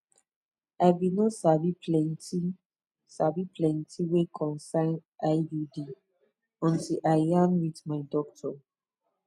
i bin no sabi plenti sabi plenti wey concern iud until i yarn wit my doctor